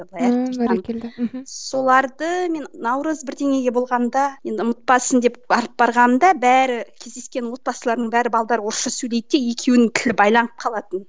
мхм соларды мен наурыз бірдеңеге болғанда енді ұмытпасын деп алып барғанда бәрі кездескен отбасылардың бәрі орысша сөйлейтін де екеуінің тілі байланып қалатын